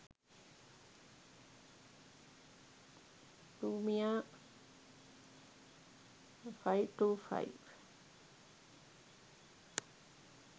lumia 525